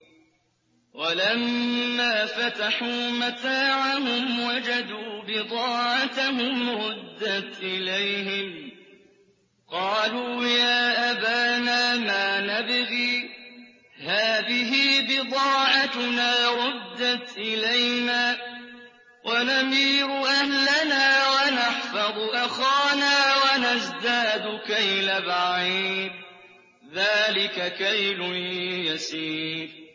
وَلَمَّا فَتَحُوا مَتَاعَهُمْ وَجَدُوا بِضَاعَتَهُمْ رُدَّتْ إِلَيْهِمْ ۖ قَالُوا يَا أَبَانَا مَا نَبْغِي ۖ هَٰذِهِ بِضَاعَتُنَا رُدَّتْ إِلَيْنَا ۖ وَنَمِيرُ أَهْلَنَا وَنَحْفَظُ أَخَانَا وَنَزْدَادُ كَيْلَ بَعِيرٍ ۖ ذَٰلِكَ كَيْلٌ يَسِيرٌ